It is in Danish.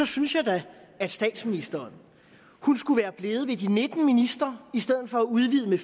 synes jeg da at statsministeren skulle være blevet ved de nitten ministre i stedet for at udvide med